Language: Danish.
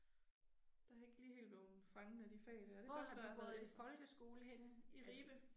Der har jeg ikke lige helt bleven fanget af de fag der, det er først når jeg er gået i. I Ribe